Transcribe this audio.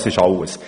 Das ist alles.